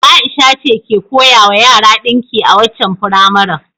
Ai'sha ce ke koyawa yara dinki a waccan firamaren.